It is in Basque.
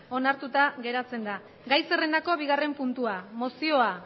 onartuta geratzen da gai zerrendako bigarren puntua mozioa